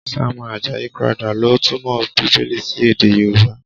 Samuel Ajayi Crowther ló túmọ̀ Bíbélì sí èdè Yorùbá.